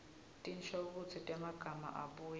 tinshokutsi temagama abuye